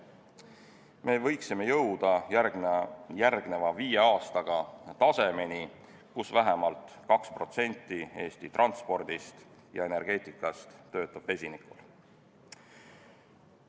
Me võiksime jõuda järgmise viie aastaga tasemeni, kus vähemalt 2% Eesti transpordist ja energeetikast töötab vesiniku jõul.